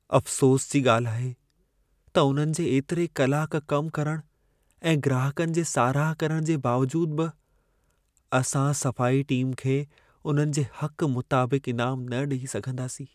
अफ़सोसु जी ॻाल्हि आहे त उन्हनि जे एतिरे कलाक कम करण ऐं ग्राहकनि जे साराह करण जे बावजूदु बि, असां सफ़ाई टीम खे उन्हनि जे हक़ मुताबिक़ु इनाम न ॾेई सघंदासीं।